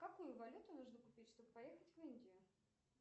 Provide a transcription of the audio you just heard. какую валюту нужно купить чтобы поехать в индию